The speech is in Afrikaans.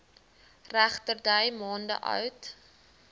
regterdy maande oud